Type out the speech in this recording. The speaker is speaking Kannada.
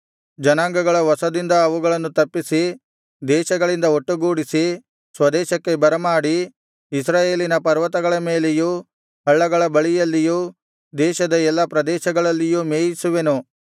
ಜನಾಂಗಗಳ ವಶದಿಂದ ಅವುಗಳನ್ನು ತಪ್ಪಿಸಿ ದೇಶಗಳಿಂದ ಒಟ್ಟುಗೂಡಿಸಿ ಸ್ವದೇಶಕ್ಕೆ ಬರಮಾಡಿ ಇಸ್ರಾಯೇಲಿನ ಪರ್ವತಗಳ ಮೇಲೆಯೂ ಹಳ್ಳಗಳ ಬಳಿಯಲ್ಲಿಯೂ ದೇಶದ ಎಲ್ಲಾ ಪ್ರದೇಶಗಳಲ್ಲಿಯೂ ಮೇಯಿಸುವೆನು